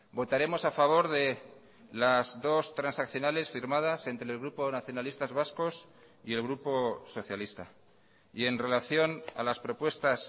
votaremos a favor de las dos transaccionales firmadas entre el grupo nacionalistas vascos y el grupo socialista y en relación a las propuestas